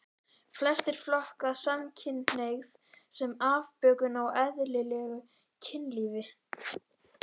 Flestir flokka samkynhneigð sem afbökun á eðlilegu kynlífi.